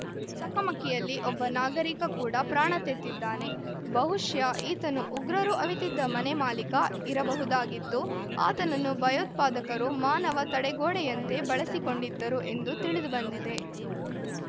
ಚಕಮಕಿಯಲ್ಲಿ ಒಬ್ಬ ನಾಗರಿಕ ಕೂಡ ಪ್ರಾಣ ತೆತ್ತಿದ್ದಾನೆ ಬಹುಶಃ ಈತನು ಉಗ್ರರು ಅವಿತಿದ್ದ ಮನೆ ಮಾಲೀಕ ಇರಬಹುದಾಗಿದ್ದು ಆತನನ್ನು ಭಯೋತ್ಪಾದಕರು ಮಾನವ ತಡೆಗೋಡೆಯಂತೆ ಬಳಸಿಕೊಂಡಿದ್ದರು ಎಂದು ತಿಳಿದುಬಂದಿದೆ